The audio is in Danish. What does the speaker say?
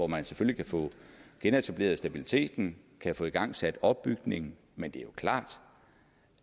man kan få genetableret stabiliteten kan få igangsat opbygningen men det er klart